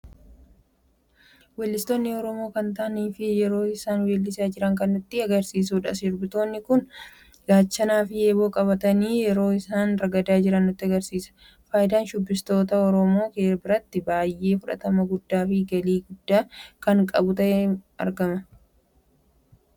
Wellistoota oromoo kan ta'ani fi yeroo isaan wallisarra jiran kan nutti agarsiisudha. sirbitoonni kun gaachanaa fi eeboo qabatani yeroo isaan ragaada jiran nutti muldhisa. Faayidan shubbistoota oromoo biratti baay'ee fudhatama guddaa fi galii biyya ta'uudhan kan beekamanidha.